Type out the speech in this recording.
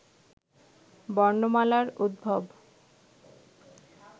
বর্ণমালার উদ্ভব